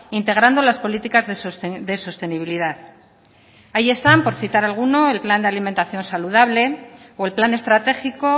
integrando las políticas de sostenibilidad ahí están por citar alguno el plan de alimentación saludable o el plan estratégico